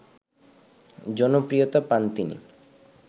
জনপ্রিয়তা পান তিনি